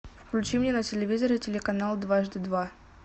включи мне на телевизоре телеканал дважды два